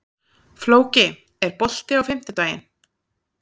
Flóki, er bolti á fimmtudaginn?